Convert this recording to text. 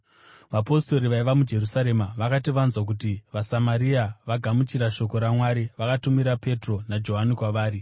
Vapostori vaiva muJerusarema vakati vanzwa kuti vaSamaria vagamuchira shoko raMwari, vakatumira Petro naJohani kwavari.